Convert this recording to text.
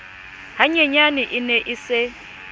hanyenyane e ne e se